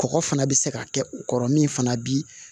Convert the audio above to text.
Kɔgɔ fana bɛ se ka kɛ u kɔrɔ min fana bi